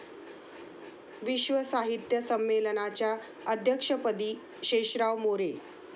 विश्व साहित्य संमेलनाच्या अध्यक्षपदी शेषराव मोरे